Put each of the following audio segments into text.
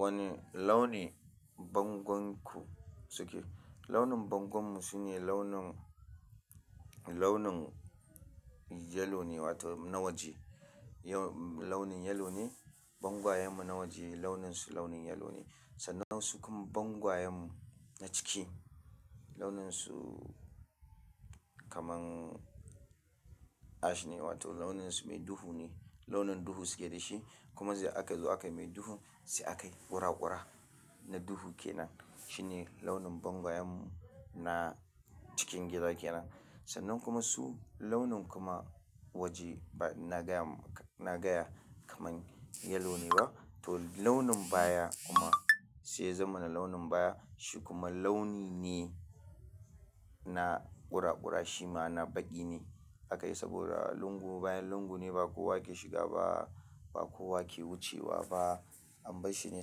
Wani launin bangonku suke? Launin bangonmu shine launin, launin yellow ne wato nawaji. Launin yellow ne bangwayanmu na waje launin su yellow ne na waje sannan sukuma bangwayanmu na ciki launin su kamar ash ne wato launin su mai duhu ne. Launin duhu suke da shi kuma sai aka zo a kayi mai duhu, sai a kai ƙuraƙura na duhu ke nan. Shi ne launin bangwayanmu na cikin gida ke nan. Sannan kuma su launin kuma waje na gaya, na gaya kaman yellow ne ba to launin baya kuma sai ya zama na launin baya. Shi kuma launi ne na ƙuraƙura, shi ma na faɗi ne aka yi saboda lungu, bayan lungu ne ba kowa ke shiga ba, ba kowa ke wucewa ba. Amma shi ne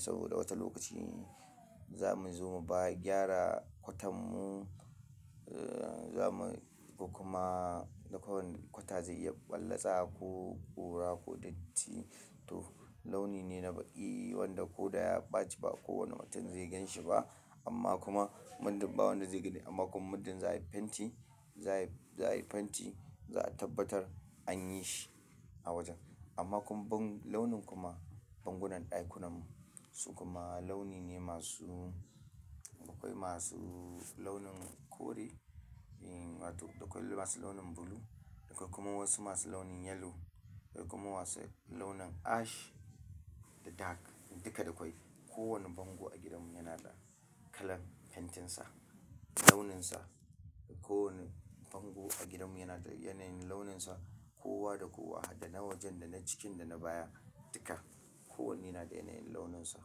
saboda wata lokaci za mu zo mu ba gyara kwatan mu, za mu ko kuma kwata zai iya ɓallasa ko ɓura ko datti. To launi ne na baƙi wanda ko da ya ɓaci ba kowane mutum zai ganshi ba. Amma kuma mudun ba wanda zai gani amma kuma mudun za a yi fenti, za a yi fenti za a tabbatar an yi shi a wajen. Amma kuma bang-- launin kuma bangunan ɗakunan su kuma launi ne masu, akwai masu launin kore, akwai masu launin blue, akwai kuma wasu masu launin yellow, akwai kuma masu launin ash da dark duka akwai. Kowani bango a gidan mu yana da kalan fentinsa, launinsa. Kowani bango a gidan mu yana da yanayin launinsa kowa da kowa har da na waje da na ciki da na baya duka. Kowanne yana da yanayin launinsa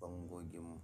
bangogin mu.